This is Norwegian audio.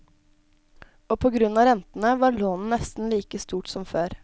Og på grunn av rentene, var lånet nesten like stort som før.